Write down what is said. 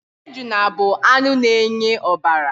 Ejuna bụ anụ na-enye ọbara.